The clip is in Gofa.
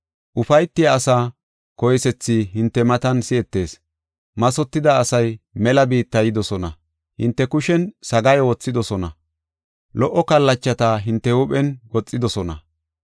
Ufaytiya asaa koysethi hinte matan si7etees. Mathotida asay mela biitta yidosona. Hinte kushen sagaayo wothidosona; lo77o kallachata hinte huuphen goxidosona.